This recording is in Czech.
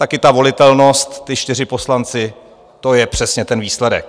Taky ta volitelnost, ti čtyři poslanci, to je přesně ten výsledek.